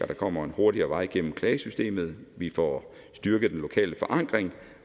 der kommer en hurtigere vej igennem klagesystemet at vi får styrket den lokale forankring